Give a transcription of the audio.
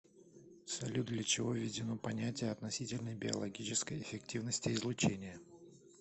салют для чего введено понятие относительной биологической эффективности излучения